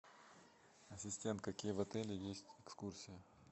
ассистент какие в отеле есть экскурсии